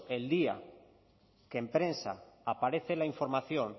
el día que en prensa aparece la información